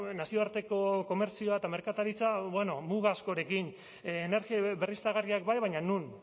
nazioarteko komertzioa eta merkataritza bueno muga askorekin energia berriztagarriak bai baina non